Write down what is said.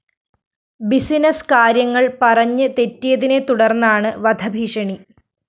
business കാര്യങ്ങള്‍ പറഞ്ഞ് തെറ്റിയതിനെത്തുടര്‍ന്നാണ് വധഭീഷണി